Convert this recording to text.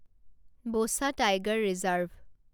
Buxa tiger reserve